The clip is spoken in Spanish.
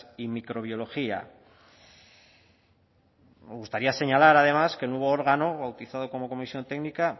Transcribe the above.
y microbiología me gustaría señalar además que el nuevo órgano bautizado como comisión técnica